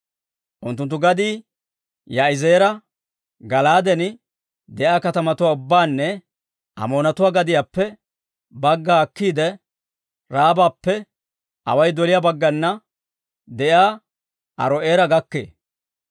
Unttunttu gadii Yaa'izeera, Gala'aaden de'iyaa katamatuwaa ubbaanne Amoonatuwaa gadiyaappe bagga akkiide, Raabappe away doliyaa baggana de'iyaa Aaro'eera gakkee.